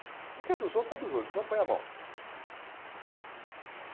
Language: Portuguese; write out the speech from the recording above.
O que é dos outros é dos outros, não põe a mão.